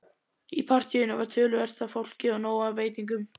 Í partíinu var töluvert af fólki og nóg af veitingum.